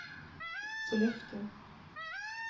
Sollefteå